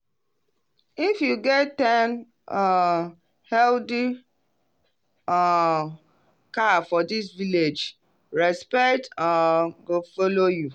if you get ten um healthy um cow for this village respect um go follow you.